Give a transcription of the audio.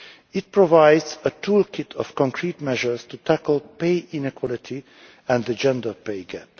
It provides a toolkit of concrete measures to tackle pay inequality and the gender